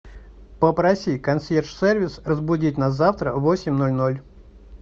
попроси консьерж сервис разбудить нас завтра в восемь ноль ноль